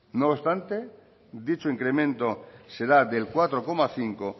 no obstante dicho incremento será del cuatro coma cinco